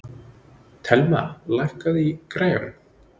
Thelma, lækkaðu í græjunum.